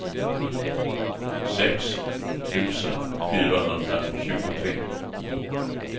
sex tusen fyrahundratjugotre